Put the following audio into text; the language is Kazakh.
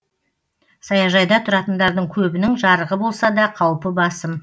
саяжайда тұратындардың көбінің жарығы болса да қаупі басым